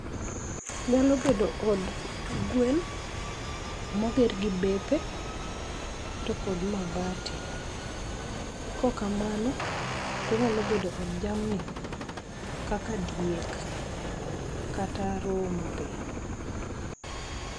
Nyalo bedo od gwen moger gi bepe to kod mabati. Kok kamano, tonyalo bedo od jamni kaka diek kata rombe.